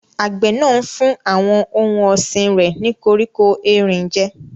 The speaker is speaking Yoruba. Àgbẹ̀ náà ń fún àwọn ohun ọ̀sìn rẹ̀ ní koríko erin jẹ́.